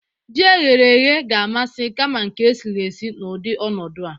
Jí e ghere eghe ga-amasị kama nke e siri esi n'udị ọnọdu a.